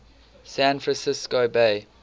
san francisco bay